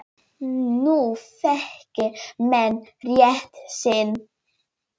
Nú þekki menn rétt sinn.